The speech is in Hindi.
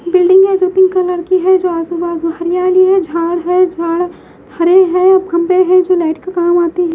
बिल्डिंग है जो पिंक कलर की है जो आज सूबा हरियाली है झाड़ है झाड़ हरे है और खम्बे है जो लाइट का काम आते हैं।